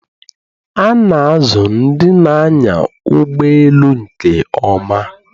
A na-azụ ndị na-anya ụgbọ elu nke ọma